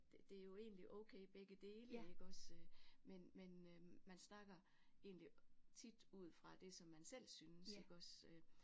Det er jo egentlig okay begge dele iggås øh men men øh man snakker egentlig tit ud fra det som man selv synes iggås øh